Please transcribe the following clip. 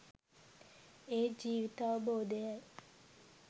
ඒ ජීවිතාවබෝධයයි.